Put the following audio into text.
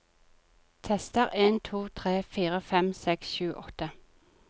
Tester en to tre fire fem seks sju åtte